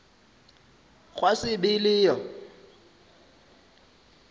gwa se be le yo